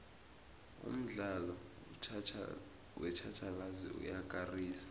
umdlalo wetjhatjhalazi uyakarisa